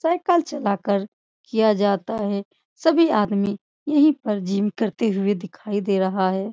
Cycle चला कर किया जाता है सभी आदमी यही पर जिम करते हुए दिखाई दे रहा हैं।